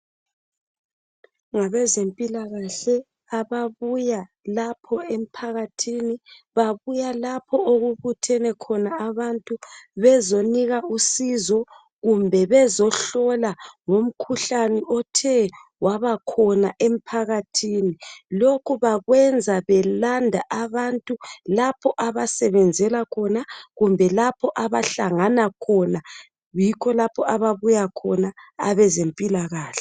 Ngabezempilakahle ababuya lapho emphakathini babuya lapho okubuthene khona abantu bezonika usizo kumbe bezohlola ngomkhuhlane othe waba khona emphakathini. Lokhu bakwenza belanda abantu lapho abasebenzela khona kumbe lapho abahlangana khona, yikho lapho ababuya khona abeze mpilakahle.